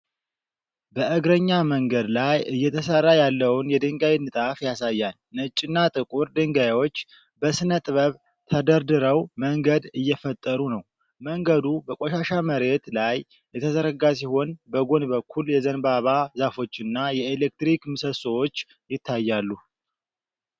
በእግረኛ መንገድ ላይ እየተሠራ ያለውን የድንጋይ ንጣፍ ያሳያል። ነጭና ጥቁር ድንጋዮች በሥነ-ጥበብ ተደርድረው መንገድ እየፈጠሩ ነው። መንገዱ በቆሻሻ መሬት ላይ የተዘረጋ ሲሆን፣ በጎን በኩል የዘንባባ ዛፎችና የኤሌክትሪክ ምሰሶዎች ይታያሉ።